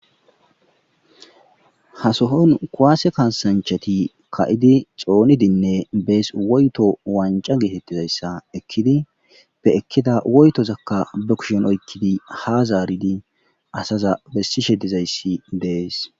Hasohon kuwaase kasanchati ka'idi xoonidinne bees woyto wanca geetettizayssa ekkidi be ekkida woytozakka be kushon oykkidi ha zaaridi asaza bessishe dizayssi dees